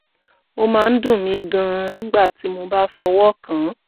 ó máa ń dùn mí gan-an nígbà tí mo bá fọwọ́ kàn án